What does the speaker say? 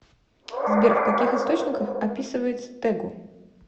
сбер в каких источниках описывается тэгу